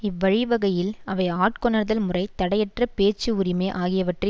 இவ்வழிவகையில் அவை ஆட்கொணர்தல் முறை தடையற்ற பேச்சு உரிமை ஆகியவற்றை